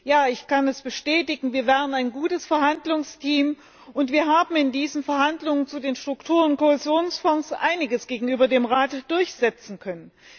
Ja, ich kann es bestätigen, wir waren ein gutes Verhandlungsteam, und wir haben in diesen Verhandlungen über den Struktur und Kohäsionsfonds einiges gegenüber dem Rat durchsetzen können.